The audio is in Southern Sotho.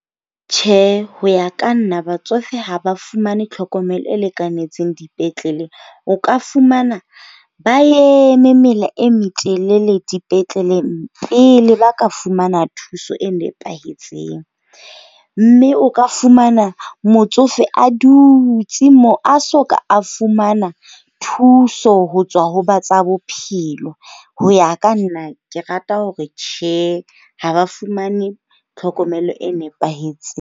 Tjhe, ho ya ka nna batsofe ha ba fumane tlhokomelo e lekanetseng dipetlele. O ka fumana ba eme mela e metelele dipetleleng pele ba ka fumana thuso e nepahetseng. Mme o ka fumana motsofe a dutse moo, a soka a fumana thuso ho tswa ho ba tsa bophelo. Ho ya ka nna, ke rata hore tjhe, ha ba fumane tlhokomelo e nepahetseng.